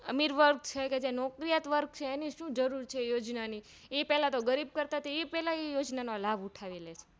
અમીરવર્ગ છે કે જે નોકરીયાત વર્ગ છે એની શું જરૂર છે યોજનાની ઈ પેલાતો ગરીબ કરતાં પેલા એ યોજનાનો લાભ ઉઠાવીલે